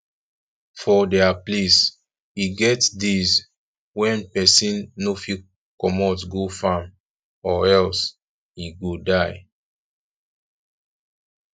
for dia place e get days when person no fit comot go farm or else e go die